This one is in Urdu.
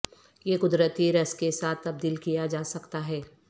یہ قدرتی رس کے ساتھ تبدیل کیا جا سکتا ہے